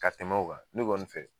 Ka tɛmɛ o kan. Ne kɔni fɛ